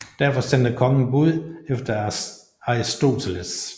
Derfor sendte kongen bud efter Aristoteles